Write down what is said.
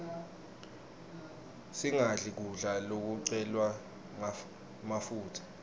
singadli kudla lokugcwele mafutsa